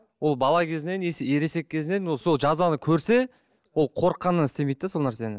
ол бала кезінен ересек кезінен ол сол жазаны көрсе ол қорыққанынан істемейді де сол нәрсені